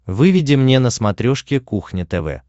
выведи мне на смотрешке кухня тв